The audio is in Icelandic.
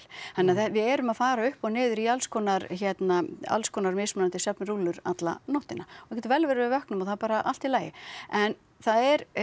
þannig að við erum að fara upp og niður í alls konar hérna alls konar mismunandi alla nóttina það getur vel verið að við vöknum og það er bara allt í lagi en það er